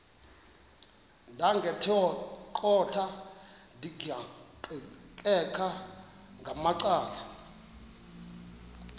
ndaqetheqotha ndiqikaqikeka ngamacala